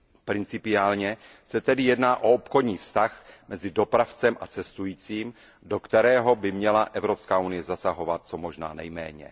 Principiálně se tedy jedná o obchodní vztah mezi dopravcem a cestujícím, do kterého by měla Evropská unie zasahovat co možná nejméně.